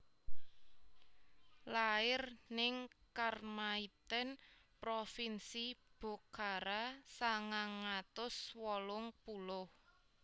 Lair ning Kharmaithen provinsi Bokhara sangang atus wolung puluh